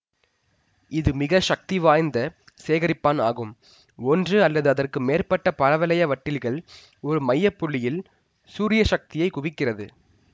இது மிக சக்திவாய்ந்த சேகரிப்பான் ஆகும் ஒன்று அல்லது அதற்கு மேற்பட்ட பரவளைய வட்டில்கள் ஒரு மைய புள்ளியில் சூரிய சக்தியை குவிக்கிறது